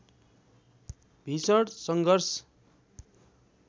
भीषण सङ्घर्ष